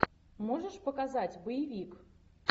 можешь показать боевик